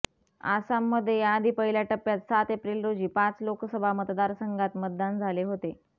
आसाममध्ये याआधी पहिल्या टप्प्यात सात एप्रिल रोजी पाच लोकसभा मतदारसंघात मतदान झाले होते